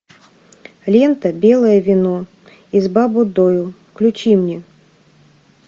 лента белое вино из баббудойу включи мне